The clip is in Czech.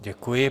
Děkuji.